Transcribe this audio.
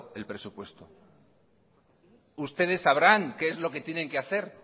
el presupuesto ustedes sabrán qué es lo que tienen que hacer